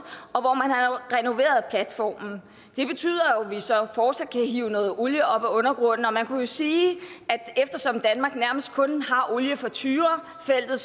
og hvor man har renoveret platformen det betyder at vi så fortsat kan hive noget olie op fra undergrunden og man kunne jo sige at eftersom danmark nærmest kun har olie fra tyrafeltet